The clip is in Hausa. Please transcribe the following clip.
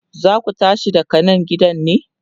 zaku tashi daga Nan gidan ne?